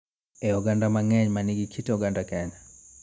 E oganda mang�eny ma nigi kit oganda Kenya.